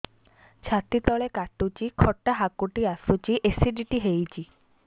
ଛାତି ତଳେ କାଟୁଚି ଖଟା ହାକୁଟି ଆସୁଚି ଏସିଡିଟି ହେଇଚି